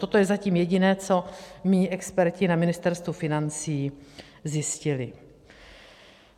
Toto je zatím jediné, co mí experti na Ministerstvu financí zjistili.